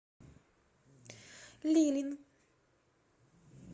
лилин